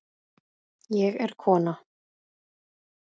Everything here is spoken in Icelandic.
Ég er kona